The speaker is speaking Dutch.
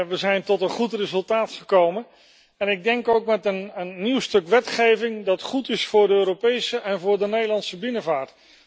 We zijn tot een goed resultaat gekomen en ik denk ook met een nieuw stuk wetgeving dat goed is voor de Europese en voor de Nederlandse binnenvaart.